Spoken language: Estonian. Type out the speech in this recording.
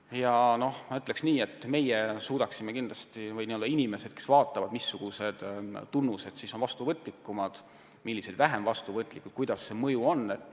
Ja ma ütleks nii, et katsetega suudaksime kindlasti analüüsida, missuguste puude järglased on haigustele vastuvõtlikumad ja millised vähem vastuvõtlikud ning milline see mõju on.